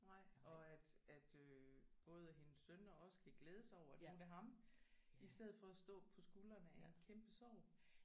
Nej og at at øh både at hendes sønner også kan glæde sig over at nu er det ham i stedet for at stå på skuldrene af en kæmpe sorg